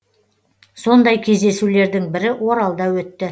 сондай кездесулердің бірі оралда өтті